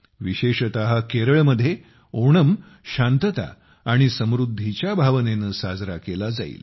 विशेषत केरळमध्ये ओणम शांतता आणि समृद्धीच्या भावनेने साजरा केला जाईल